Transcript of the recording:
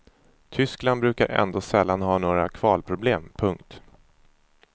Tyskland brukar ändå sällan ha några kvalproblem. punkt